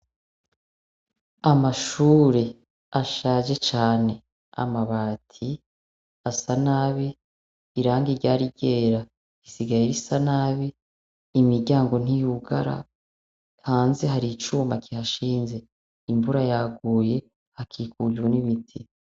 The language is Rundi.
Amashure ashaje cane:Amabati asa nabi, irangi ryari ryera risigaye risa nabi, imiryango ntiyugara. Hanze har'icuma kihashinze, imvura yaguye, hakikujwe n'ibiti.